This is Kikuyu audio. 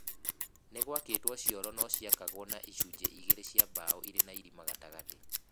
Nĩ gwakĩtwo cioro na ciakagwo na icunjĩ igĩrĩ cia mbaũ irĩ na irima gatagatĩ.